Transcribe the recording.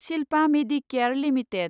Shilpa Medicare limited